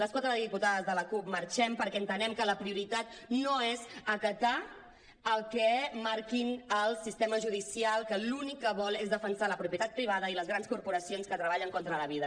les quatre diputades de la cup marxem perquè entenem que la prioritat no és acatar el que marqui el sistema judicial que l’únic que vol és defensar la propietat privada i les grans corporacions que treballen contra la vida